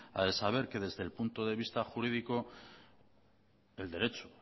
ha de saber que desde el punto de vista jurídico el derecho